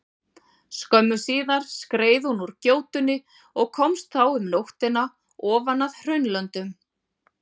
Skömmu síðar skreið hún úr gjótunni og komst þá um nóttina ofan að Hraunlöndum.